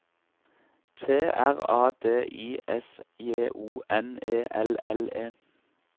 T R A D I S J O N E L L E